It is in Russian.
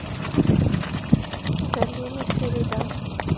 галина середа